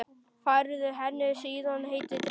Færði henni síðan heitan drykk.